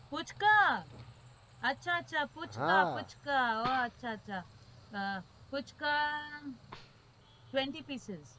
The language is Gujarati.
પૂચકા અચ્છા અચ્છા પૂચકા પૂચકા twenty picess